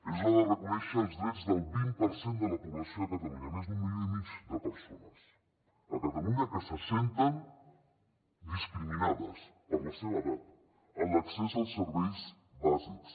és hora de reconèixer els drets del vint per cent de la població de catalunya més d’un milió i mig de persones a catalunya que se senten discriminades per la seva edat en l’accés als serveis bàsics